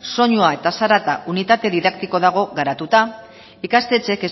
soinua eta zarata unitate didaktikoa dago garatuta ikastetxeek